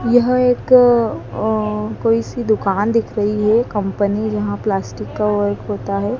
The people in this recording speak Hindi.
यह एक अह कोई सी दुकान दिख रही है कंपनी जहां प्लास्टिक का वर्क होता है।